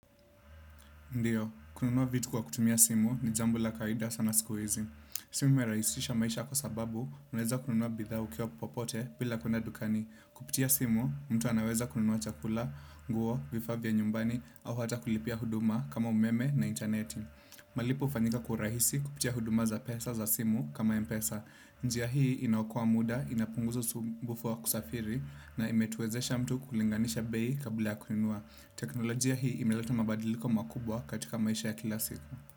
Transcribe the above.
Ndiyo, kununua vitu kwa kutumia simu ni jambo la kawaida sana siku hizi. Simu imerahisisha maisha kwa sababu unaweza kununua bidhaa popote bila kwenda dukani kupitia simu, mtu anaweza kununua chakula, nguo, vifaa vya nyumbani, au hata kulipia huduma kama umeme na intaneti. Malipo hufanyika kwa urahisi kupitia huduma za pesa za simu kama Mpesa. Njia hii inaokoa muda, inapunguza usumbufu wa kusafiri, na imetuwezesha mtu kulinganisha bei kabla ya kununua. Teknolojia hii imeleta mabadiliko makubwa katika maisha ya kila siku.